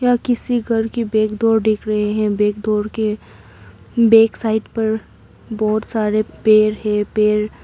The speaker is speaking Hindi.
यह किसी घर की बैक डोर दिख रहे हैं बैक डोर के बैक साइड पर बहुत सारे पेड़ है पेड़--